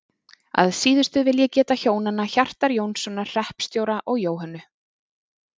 Að síðustu vil ég geta hjónanna Hjartar Jónssonar hreppstjóra og Jóhönnu